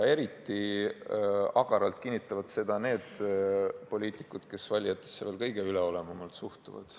Eriti agaralt kinnitavad seda need poliitikud, kes valijatesse kõige üleolevamalt suhtuvad.